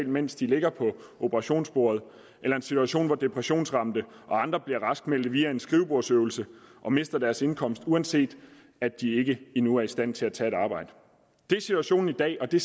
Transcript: mens de ligger på operationsbordet eller en situation hvor depressionsramte og andre bliver raskmeldte via en skrivebordsøvelse og mister deres indkomst uanset at de ikke endnu er i stand til at tage et arbejde det er situationen i dag og det